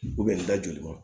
n da joli ma